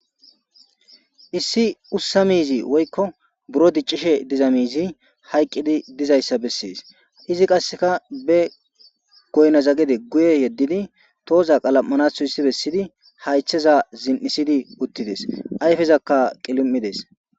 issi ussa miizi woykko buro diccishe diza miizi hayqqidi dizayssa bessees izi qasseka be goynazagede guye yeddidi tooza qalam7anathu hissi bessidi haytheza zin7isidi uttides ayfezakka qili7ides